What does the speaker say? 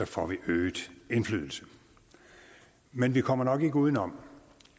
får vi øget indflydelse men vi kommer nok ikke uden om